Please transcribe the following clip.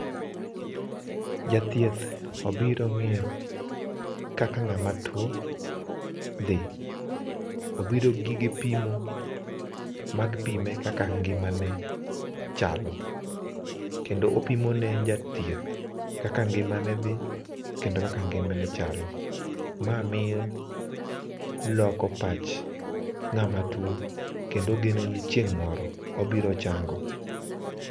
Jathieth obiro ngiyo kaka ng'ama tuo dhi. Obiro gi gige pimo, mag pime kaka ngimane chalo kendo opimo ne jathieth kaka ngimane dhi kendo kaka ngimane chalo, ma miyo loko pach ng'ama tuo kendo ogeno ni chieng moro obiro chango